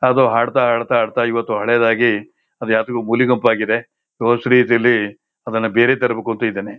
ಅದು ಹಾಡತ್ತಾ ಹಾಡ್ತ ಹಾಡ್ತ ಹಾಡ್ತ ಇವತ್ತು ಹಳೇದಾಗಿ ಅದು ಯಾಕೋ ಮೂಲೆ ಗುಂಪಾಗಿದೆ ಗ್ರೋಸರಿ ಇಲ್ಲಿ ಅದನ್ನ ಬೇರೆ ತರಬೇಕು ಅಂತ್ತಿದ್ದೀನಿ.